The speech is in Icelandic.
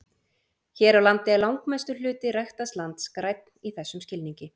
Hér á landi er langmestur hluti ræktaðs lands grænn í þessum skilningi.